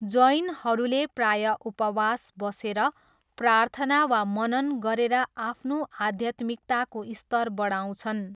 जैनहरूले प्रायः उपवास बसेर प्रार्थना वा मनन गरेर आफ्नो आध्यात्मिकताको स्तर बढाउँछन्।